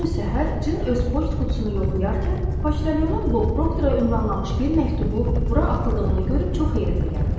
Bir gün səhər Cin öz poçt qutusunu yoxlayarkən poçtalyonun Bob Proktora ünvanlamış bir məktubu bura atıldığını görüb çox heyrətə gəlir.